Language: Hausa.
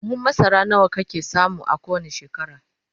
buhun masara nawa kake samu a kowani shekara?